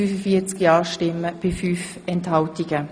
Sie haben Ziffer zwei als Postulat abgelehnt.